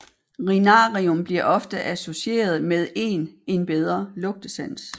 Rinarium bliver ofte associeret med en en bedre lugtesans